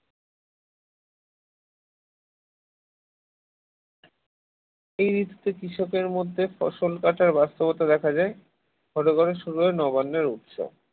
এই ঋতুতে কৃষক এর মধ্যে ফসল কাটার ব্যস্ততা দেখা যায় ঘরে ঘরে শুরু হয় নবান্ননের উৎসব